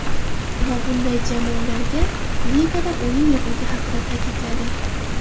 Va bunday jamoalarga ligada o‘yin yo‘qligi haqida ta’kidladi.